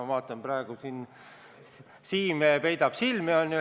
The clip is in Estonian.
Ma vaatan praegu, et Siim siin peidab silmi.